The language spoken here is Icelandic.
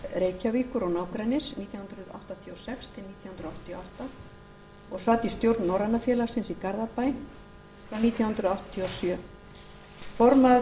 reykjavíkur og nágrennis nítján hundruð áttatíu og sex til nítján hundruð áttatíu og átta og sat í stjórn norræna félagsins í garðabæ frá nítján hundruð áttatíu og sjö formaður þess